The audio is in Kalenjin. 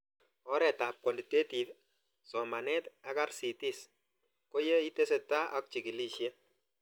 Oret ab Quantitative, somanet ak RCTs ko ye itesetai ak chikilishet